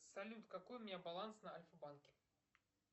салют какой у меня баланс на альфа банке